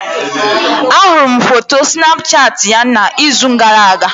Ahụrụ m foto Snapchat ya n'izu gara-aga.